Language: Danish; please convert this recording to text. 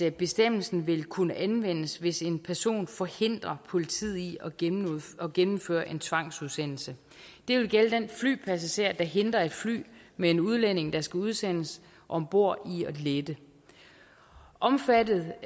at bestemmelsen vil kunne anvendes hvis en person forhindrer politiet i at gennemføre gennemføre en tvangsudsendelse det vil gælde den flypassager der hindrer et fly med en udlænding der skal udsendes om bord i at lette omfattet